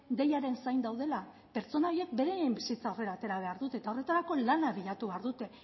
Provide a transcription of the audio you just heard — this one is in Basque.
deiaren zain daudela pertsona horiek beraien bizitza aurrera atera behar dute eta horretarako lana bilatu behar dute